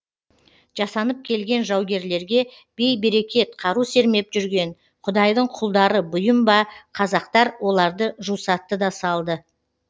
жасанып келген жаугерлерге бей берекет қару сермеп жүрген құдайдың құлдары бұйым ба қазақтар оларды жусатты да салды